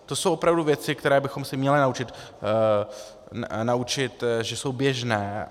To jsou opravdu věci, které bychom se měli naučit, že jsou běžné.